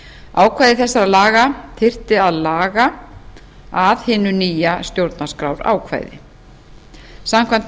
ákvæði þessara laga þyrfti að laga að hinu nýja stjórnarskrárákvæði samkvæmt